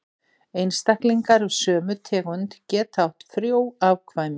Einstaklingar af sömu tegund geta átt frjó afkvæmi.